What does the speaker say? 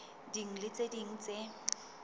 ding le tse ding tse